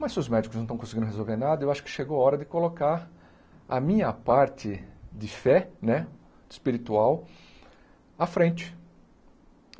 Mas se os médicos não estão conseguindo resolver nada, eu acho que chegou a hora de colocar a minha parte de fé né espiritual à frente.